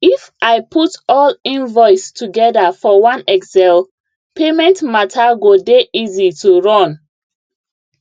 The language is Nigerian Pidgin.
if i put all invoice together for one excel payment matter go dey easy to run